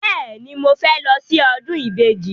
Bẹ́ẹ̀ni, mo fẹ́ lọ sí ọdún ìbejì.